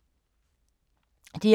DR2